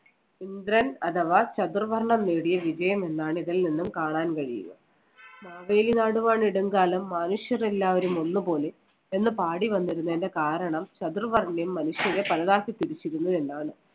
ഇന്ദ്രൻ അഥവാ ചതുർവർണ്ണം നേടിയ വിജയം എന്നാണ് ഇതിൽ നിന്നും കാണാൻ കഴിയുക. മാവേലി നാടുവാണിടും കാലം മാനുഷ്യരെല്ലാവരും ഒന്നുപോലെ എന്ന് പാടി വന്നിരുന്നതിന്‍റെ കാരണം ചതുർവർണ്യം മനുഷ്യരേ പലതാക്കി പിരിച്ചിരുന്നു എന്നാണ്.